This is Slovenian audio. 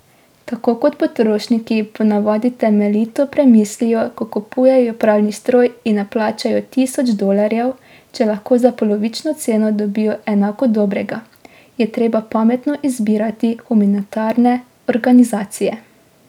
Tako kot potrošniki ponavadi temeljito premislijo, ko kupujejo pralni stroj in ne plačajo tisoč dolarjev, če lahko za polovično ceno dobijo enako dobrega, je treba pametno izbirati humanitarne organizacije.